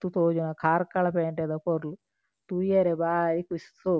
ತೋಜುನ ಕಾರ್ಕಳ ಪೇಂಟೆದ ಪೊರ್ಲು ತೂಯೆರೆ ಬಾರಿ ಕುಶ್ ಶೋಕು.